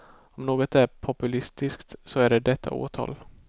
Om något är populistiskt så är det detta åtal.